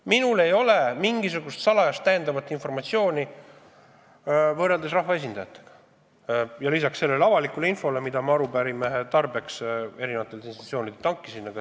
Minul ei ole lisaks sellele avalikule infole, mis ma arupärimisele vastamiseks eri institutsioonidelt hankisin, mingisugust salajast täiendavat informatsiooni, mida rahvaesindajad ei tea.